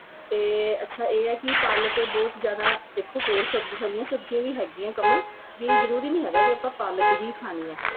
ਤੇ ਅੱਛਾ ਏ ਕੀ ਪਾਲਕ ਬਹੁਤ ਜਿਆਦਾ ਦੇਖੋ ਹੋਰ ਸਬਜੀ ਹਰੀਆਂ ਸਬਜੀਆਂ ਵੀ ਹੈਗੀਆ ਕਮਲ ਵੀ ਜਰੂਰੀ ਨੀ ਹੈਗਾ ਵੀ ਆਪਾਂ ਪਾਲਕ ਹੀ ਖਾਣੀ ਏ